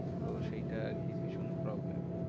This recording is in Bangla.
তো সেইটা আরকি ভীষণ problem.